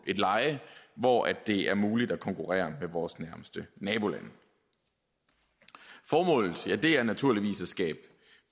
et leje hvor det er muligt at konkurrere med vores nærmeste nabolande formålet er naturligvis at skabe